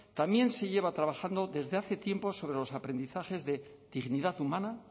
también se lleva trabajando desde hace tiempo sobre los aprendizajes de dignidad humana